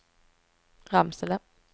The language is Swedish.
Ramsele